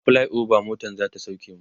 a flyover motan zata sauke mu